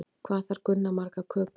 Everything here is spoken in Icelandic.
Hvað þarf Gunna margar kökur?